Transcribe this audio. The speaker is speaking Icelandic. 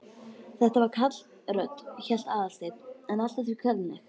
Þetta var karlrödd, hélt Aðalsteinn, en allt að því kvenleg.